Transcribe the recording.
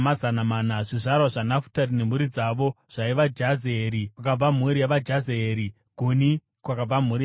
Zvizvarwa zvaNafutari nemhuri dzavo zvaiva: Jazeeri, kwakabva mhuri yavaJazeeri; Guni, kwakabva mhuri yavaGuni;